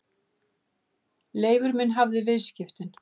Leifur minn hafði vistaskiptin.